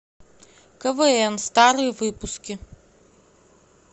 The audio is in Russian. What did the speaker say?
квн старые выпуски